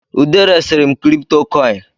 Ude resiri m kripitokoini